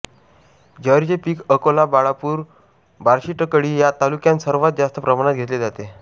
ज्वारीचे पीक अकोला बाळापूर बार्शीटाकळी या तालुक्यांत सर्वात जास्त प्रमाणात घेतले जाते